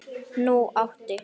Nú átti